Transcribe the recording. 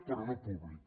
però no públic